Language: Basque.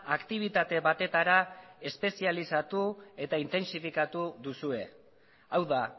aktibitate batetara espezializatu eta intentsifikatu duzue hau da